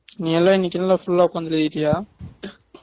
நீ எல்லாம் இன்னைக்கு எல்லாம் full ஆ உட்காந்து எழுதிட்டியா